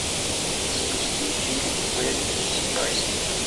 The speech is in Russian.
запусти фильм белль и себастьян